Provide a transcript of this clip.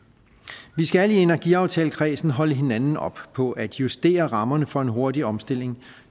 vi skal i energiaftalekredsen holde hinanden op på at justere rammerne for en hurtig omstilling